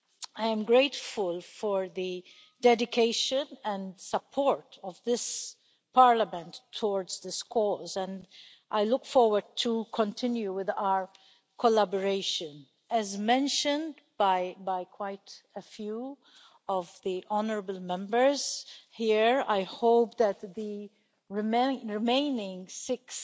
I am grateful for the dedication and support of this Parliament towards this cause and I look forward to continuing with our collaboration. As mentioned by quite a few of the honourable Members here, I hope that the remaining six